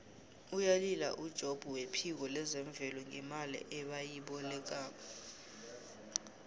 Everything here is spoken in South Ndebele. uyalila ujobb wephiko lezemvelo ngemali ebayilobako